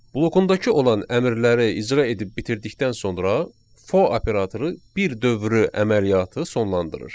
Blokundakı olan əmrləri icra edib bitirdikdən sonra for operatoru bir dövrü əməliyyatı sonlandırır.